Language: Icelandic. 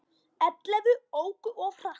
Ellefu óku of hratt